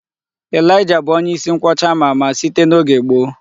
Elijah bụ onye isi nkwọcha ama ama, site n'oge gboo.